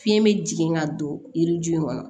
Fiɲɛ bɛ jigin ka don yiri ju in kɔnɔ